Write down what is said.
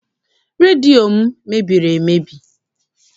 Redio m mebiri emebi.